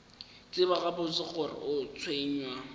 tseba gabotse gore o tshwenywa